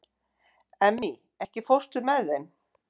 Emmý, ekki fórstu með þeim?